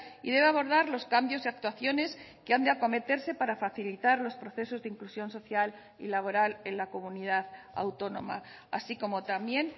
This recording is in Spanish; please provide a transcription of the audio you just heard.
y debe abordar los cambios y actuaciones que han de acometerse para facilitar los procesos de inclusión social y laboral en la comunidad autónoma así como también